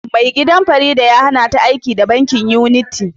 Mai gidan Farida ya hannata aiki da'bankin unity